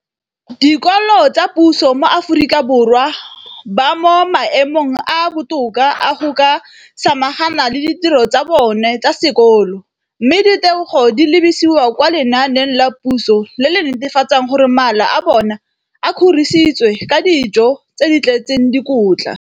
dikolo tsa puso mo Aforika Borwa ba mo maemong a a botoka a go ka samagana le ditiro tsa bona tsa sekolo, mme ditebogo di lebisiwa kwa lenaaneng la puso le le netefatsang gore mala a bona a kgorisitswe ka dijo tse di tletseng dikotla.